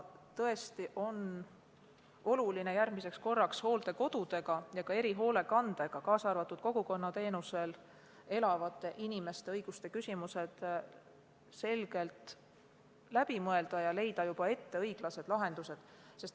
Tõesti on oluline järgmiseks korraks hooldekodude ja ka erihoolekandeasutustega need küsimused, kaasa arvatud kogukonnateenusel elavate inimeste õiguste küsimused, selgelt läbi mõelda ja leida juba ette õiglased lahendused.